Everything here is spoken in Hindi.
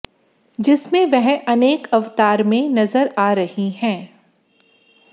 जिसमें वह अनेक अवतार में नजर आ रही हैं